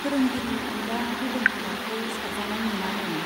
फोरोंगिरिनि अनगा गुबुन हाबाखौ साबजानाय मोनानो।